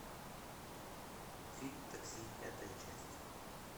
фильм такси пятая часть